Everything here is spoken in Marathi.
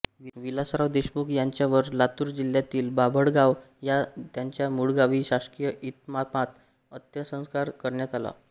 विलासराव देशमुख यांच्यावर लातूर जिल्ह्यातील बाभळगाव ह्या त्यांच्या मूळगावी शासकीय इतमामात अंत्यसंस्कार करण्यात आले